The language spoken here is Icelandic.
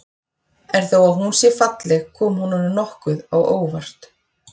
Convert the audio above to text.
En þó að hún sé falleg kom hún honum nokkuð á óvart.